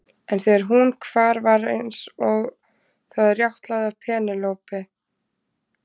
En þegar hún hvar var eins og það rjátlaði af Penélope.